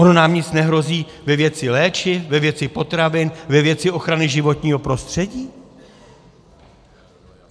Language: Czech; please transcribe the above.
Ono nám nic nehrozí ve věci léčiv, ve věci potravin, ve věci ochrany životního prostředí?